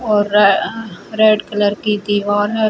और र अ रेड कलर की दीवार है।